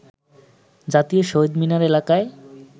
জাতীয় শহিদ মিনার এলাকায়